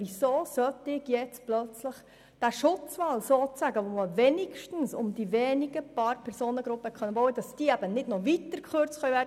Man hat immerhin um einige wenige Personengruppen einen «Schutzwall» ziehen können, damit bei diesen nicht noch weiter gekürzt werden kann als die beschlossenen 8 Prozent.